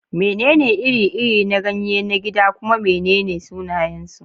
Menene iri-iri na ganye na gida kuma menene sunayensu?